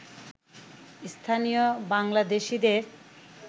স্থানীয় বাংলাদেশিদের